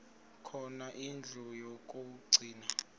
khona indlu yokagcina